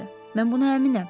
Mən buna əminəm.